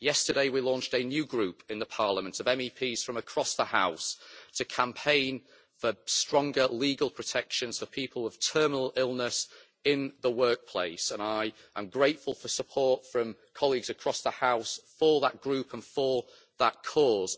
Yesterday we launched a new group in Parliament, of MEPs from across the House, to campaign for stronger legal protection for people with terminal illness in the workplace, and I am grateful for support from colleagues across the House for that group and for that cause.